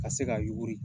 Ka se ka yuguri